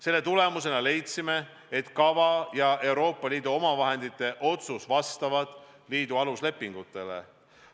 Selle tulemusena leidsime, et kava ja Euroopa Liidu omavahendite otsus vastavad liidu aluslepingutele.